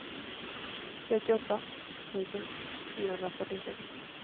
trettioåtta tusen fyrahundrafyrtiosex